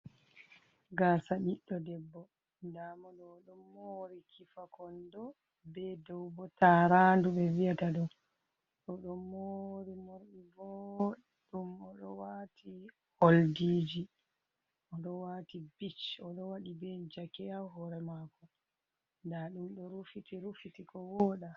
Gasa ɓiɗɗo debbo: Nda moɗo oɗo mori kifa kondo, dou tarandu be vi’ata ɗo. Odon mori morɗi vooɗɗum odo wati oldiji, odo wati bitch, odo waɗi be jake ha hore mako. Nda ɗum ɗorufiti ko woɗa.